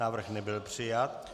Návrh nebyl přijat.